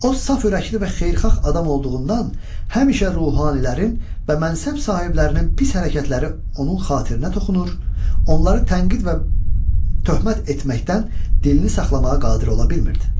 O saf ürəkli və xeyirxah adam olduğundan həmişə ruhanilərin və mənşəb sahiblərinin pis hərəkətləri onun xatirinə toxunur, onları tənqid və töhmət etməkdən dilini saxlamağa qadir ola bilmirdi.